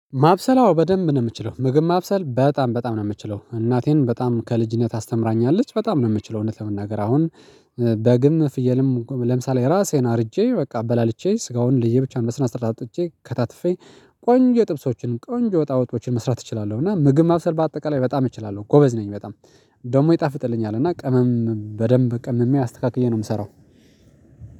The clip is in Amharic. ማብሰል አው በደንብ ነው የምትችለው ምግብ ማብሰል በጣም በጣም ነው የምትችለው እናቴን በጣም ከልጅነት አስተምራኛለች በጣም ነው የምትችለው። እውነት ለመናገር አሁን በግም ፍየልም ለምሳሌ የራሴን አርጄ በቃ በላልቼ ስጋውን ለየብቻው በስነስርዓት አውጥቼ ከታትፌ ቆንጆ ጥብሶችን ቆንጆ ወጣወጦችን መስራት እችላለሁ፣። እና ምግብ ማብሰል በአጠቃላይ በጣም እችላለሁ ጎበዝ ነኝ። በጣም ደግሞ ይጣፍጥልኛል እና ቅመም በደንብ ቀምሜ አስተካክዬ ነው የምሰራው።